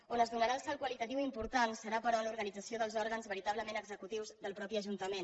on es donarà el salt qualitatiu important serà però en l’organització dels òrgans veritablement executius del mateix ajuntament